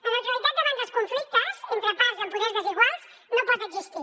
la neutralitat davant dels conflictes entre parts amb poders desiguals no pot existir